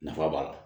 Nafa b'a la